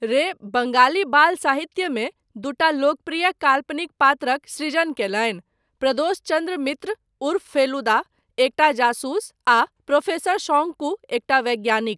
रे बङ्गाली बाल साहित्यमे दूटा लोकप्रिय काल्पनिक पात्रक सृजन कयलनि, प्रदोष चन्द्र मित्र उर्फ फेलुदा, एकटा जासूस, आ प्रोफेसर शौंकू, एकटा वैज्ञानिक।